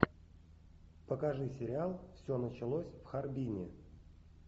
покажи сериал все началось в харбине